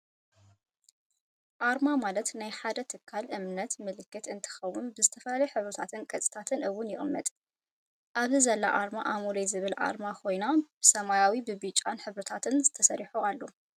ኣርማ፦ ማለት ናይ ሓደ ትካል፣ እምነት፣ ምልክት እትከውን ብዝተፈላለዩ ሕብሪታትን ቅርፂታትን እውን ይቅመጥ። ኣብዚ ዘላ ኣርማ ኣሞሌ ዝብል ኣርማ ኮይና ብሰማያዊ ብብጫን ሕብሪታት ተሰሪሑ ኣሎ።